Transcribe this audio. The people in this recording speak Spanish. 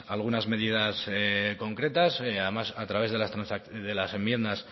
algunas medidas concretas además a través de las enmiendas